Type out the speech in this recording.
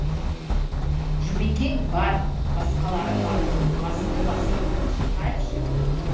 жұмекең бар басқалары бар басты бастыларын шақырайықшы